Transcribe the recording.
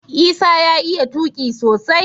Isah ya iya tuqi sosai